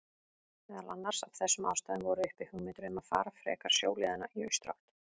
Meðal annars af þessum ástæðum voru uppi hugmyndir um að fara frekar sjóleiðina í austurátt.